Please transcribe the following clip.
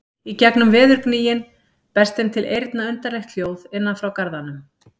Í gegnum veðurgnýinn berst þeim til eyrna undarlegt hljóð innan frá garðanum.